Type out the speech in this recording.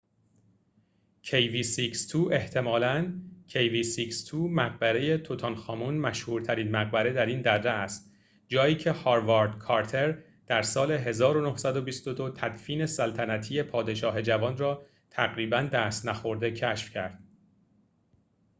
مقبره «توتنخامن» kv62. احتمالاً kv62 مشهورترین مقبره‌ در این درّه است، جایی که «هاوارد کارتر» در سال 1922 تدفین سلطنتی پادشاه جوان را تقریباً دست نخورده کشف کرد